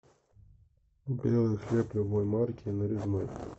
белый хлеб любой марки нарезной